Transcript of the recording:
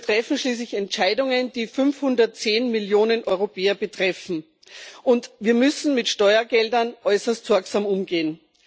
Wir treffen schließlich Entscheidungen, die 510 Millionen Europäer betreffen, und wir müssen mit Steuergeldern äußerst sorgsam umgehen.